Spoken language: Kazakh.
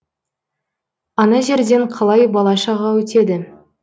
ана жерден қалай бала шаға өтеді